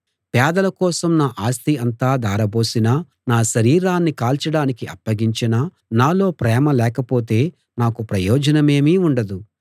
పేదల కోసం నా ఆస్తి అంతా ధారపోసినా నా శరీరాన్ని కాల్చడానికి అప్పగించినా నాలో ప్రేమ లేకపోతే నాకు ప్రయోజనమేమీ ఉండదు